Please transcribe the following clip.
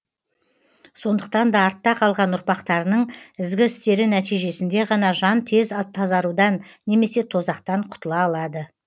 сондықтан да артта қалған ұрпақтарының ізгі істері нәтижесінде ғана жан тез тазарудан немесе тозақтан құтыла алады